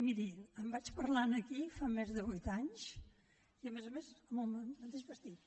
miri en vaig parlar aquí fa més de vuit anys i a més a més amb el mateix vestit